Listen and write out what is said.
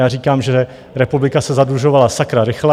Já říkám, že republika se zadlužovala sakra rychle.